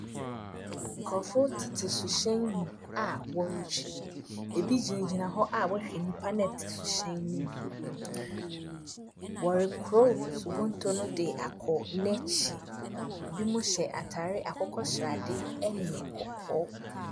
Nkurɔfoɔ tete suhyɛn mu a wɔretwi. Ebi gyinagyina hɔ a wɔrehwɛ nnipa no a wɔte suhyɛn no mu no. Wɔrekorɔ subonto no de akɔ n'ekyir. Binom hyɛ atar akokɔ srade ne kɔkɔɔ.